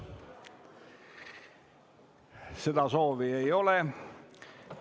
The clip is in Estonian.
Seda soovi ei ole.